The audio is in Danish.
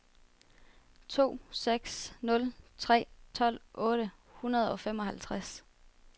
to seks nul tre tolv otte hundrede og femoghalvtreds